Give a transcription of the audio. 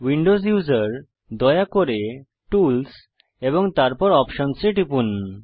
Windows user দয়া করে tools এবং অপশনস এ টিপুন